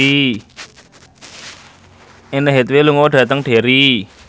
Anne Hathaway lunga dhateng Derry